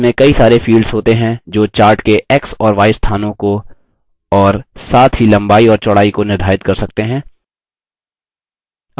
इसमें कई सारे fields होते हैं जो chart के x और y स्थानों को और साथ ही लम्बाई और चौड़ाई को निर्धारित कर सकते हैं